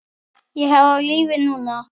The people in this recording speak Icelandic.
Ég er á lífi núna.